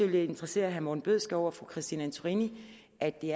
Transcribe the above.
vil interessere herre morten bødskov og fru christine antorini at det